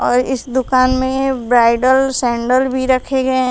और इस दुकान में ब्राइडल सैंडल भी रखे गए।